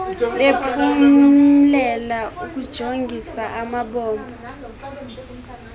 bephumlela ukujongis amabombo